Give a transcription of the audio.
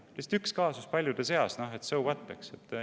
Lihtsalt üks kaasus paljude seas, so what.